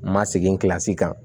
Ma segin kan